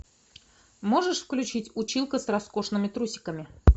можешь включить училка с роскошными трусиками